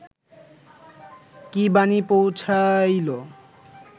কী বাণী পৌঁছাইল